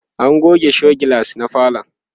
an goge show glass na falon